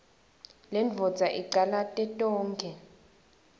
lendvodza icalate tonkhe